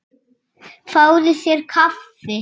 Fáðu þér kaffi.